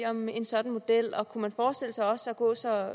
om en sådan model og kunne man forestille sig også at gå så